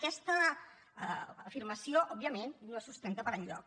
aquesta afirmació òbviament no es sustenta per enlloc